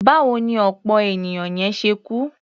Báwo ni ọ̀pọ̀ ènìyàn yẹn ṣe kú?